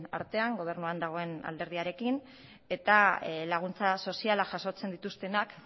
artean gobernuan dagoen alderdiarekin eta laguntza soziala jasotzen dituztenak